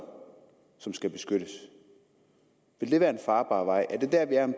som skal beskyttes vil det være en farbar vej er det der vi er om